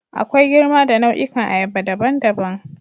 Akwai girma da nau'ikan ayaba daban-daban.